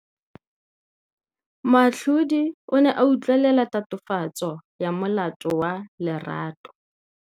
Moatlhodi o ne a utlwelela tatofatsô ya molato wa Lerato.